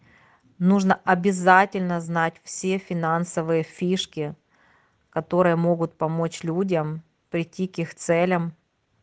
нужно обязательно знать все финансовые фишки которые могут помочь людям прийти к их целям